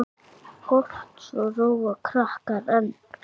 Kort svo róa krakkar enn.